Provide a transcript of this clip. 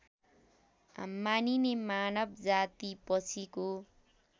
मानिने मानव जातिपछिको